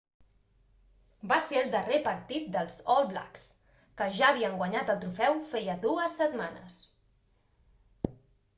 va ser el darrer partit dels all blacks que ja havien guanyat el trofeu feia dues setmanes